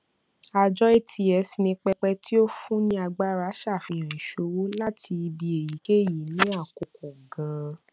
àjọ ats ni pẹpẹ tí ó fún ni agbára ṣàfihàn ìṣòwò láti ibi èyíkéyìí ní àkókò gan